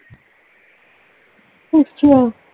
ਅੱਛਾ